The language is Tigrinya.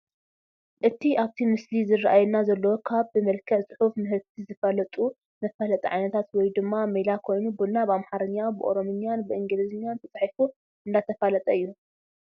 እቲ ኣብቲ ምስሊ ዝራኣየና ዘሎ ካብ ብመልክዕ ፅሑፍ ምህርቲ ዝፋለጠሉ መፋለጥቲ ዓይነታት ወይ ድማ ሜላ ኮይኑ ቡና ብኣምሓርኛ፣ ብኦሮምኛን ብኢንግሊዝኛን ተፃሒፉ እንዳተፋለጠ እዩ፡፡